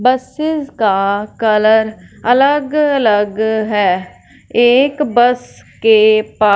buses का colour अलग-अलग है एक बस के पा --